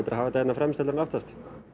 hafa þetta hérna fremst heldur en aftast